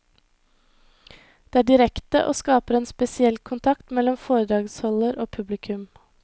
Det er direkte og skaper en spesiell kontakt mellom foredragsholder og publikum.